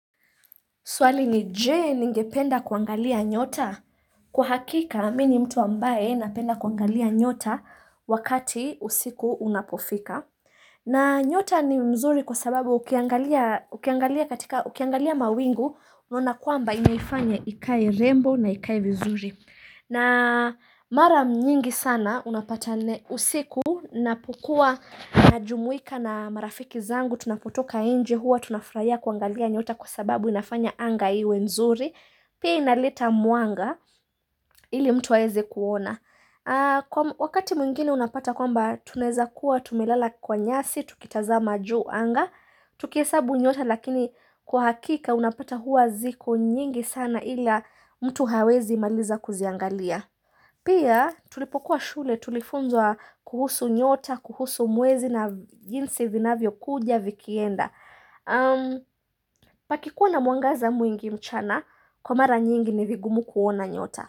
Swali ni jee ningependa kuangalia nyota? Kwa hakika, mimi ni mtu ambaye napenda kuangalia nyota wakati usiku unapofika. Na nyota ni mzuri kwa sababu ukiangalia mawingu, unaona kwamba inaifanya ikaye rembo na ikaye vizuri. Na mara nyingi sana, unapata usiku, napokua najumuika na marafiki zangu, tunapotoka nje huwa, tunafurahia kuangalia nyota kwa sababu inafanya anga iwe nzuri pia inaleta mwanga ili mtu aeze kuona wakati mwingine unapata kwamba tuneza kuwa tumelala kwa nyasi tukitazama juu anga tukiesabu nyota lakini kwa hakika unapata huwa ziko nyingi sana ili mtu hawezi maliza kuziangalia pia tulipokuwa shule tulifunzo kuhusu nyota kuhusu muwezi na jinsi vinavyo kuja vikienda Pakikuwa na mwangaza mwingi mchana Kwa mara nyingi ni vigumu kuona nyota.